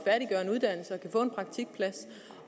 få en praktikplads